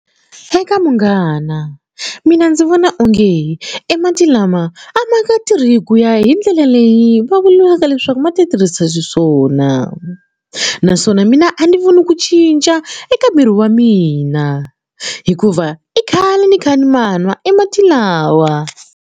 Eka munghana mina ndzi vona onge e mati lama a ma nga tirhi hi ku ya hi ndlela leyi va vuriwaka leswaku ma ti tirhisa xiswona naswona mina a ni voni ku cinca eka miri wa mina hikuva i khale ni kha ni ma nwa e mati lawa.